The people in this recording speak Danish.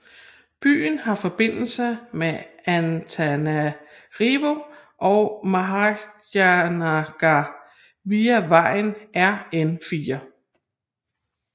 Byen har forbindelse med Antananarivo og Mahajanga via vejen RN4